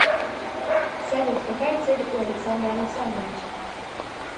салют какая цель у александра александровича